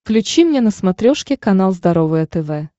включи мне на смотрешке канал здоровое тв